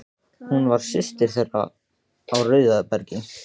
Hún var systir þeirra á Rauðabergi.